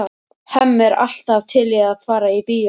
Hemmi er alltaf til í að fara í bíó.